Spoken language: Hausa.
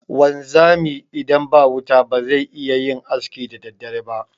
Wanzami idan ba wuta bazai iyayin aski da daddare ba.